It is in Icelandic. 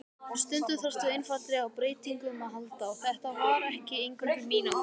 Stundum þarftu einfaldlega á breytingum að halda, þetta var ekki eingöngu mín ákvörðun.